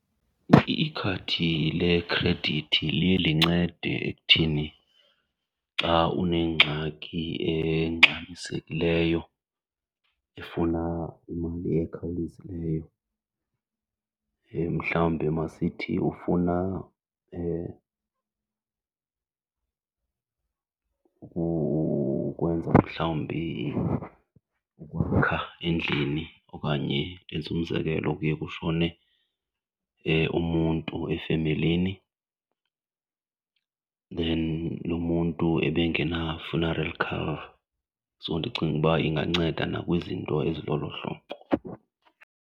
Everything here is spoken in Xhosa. Ikhadi lekhredithi liye lincede ekuthini xa unengxaki engxamisekileyo efuna imali ekhawulezileyo, mhlawumbi masithi ufuna ukwenza mhlawumbi ukwakha endlini. Okanye ndenze umzekelo, kuye kushone umuntu efemelini then lo muntu abengena-funeral cover so ndicinga uba inganceda nakwizinto ezilolo hlobo.